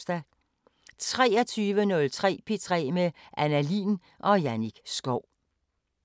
23:03: P3 med Anna Lin og Jannik Schow